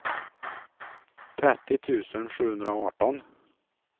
trettio tusen sjuhundraarton